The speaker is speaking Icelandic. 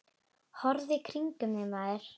Horfðu í kringum þig, maður.